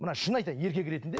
мына шын айтайын еркек ретінде